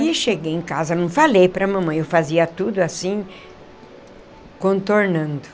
E cheguei em casa, não falei para a mamãe, eu fazia tudo assim, contornando.